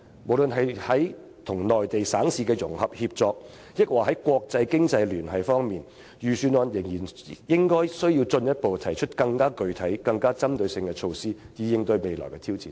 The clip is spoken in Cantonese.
無論是在與內地省市的融合協作，還是在國際經濟聯繫方面，政府仍然需要進一步提出更具體、更具針對性的措施，以應對未來的挑戰。